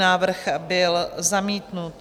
Návrh byl zamítnut.